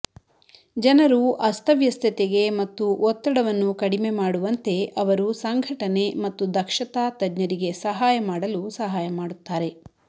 ಜನರು ಅಸ್ತವ್ಯಸ್ತತೆಗೆ ಮತ್ತು ಒತ್ತಡವನ್ನು ಕಡಿಮೆ ಮಾಡುವಂತೆ ಅವರು ಸಂಘಟನೆ ಮತ್ತು ದಕ್ಷತಾ ತಜ್ಞರಿಗೆ ಸಹಾಯ ಮಾಡಲು ಸಹಾಯ ಮಾಡುತ್ತಾರೆ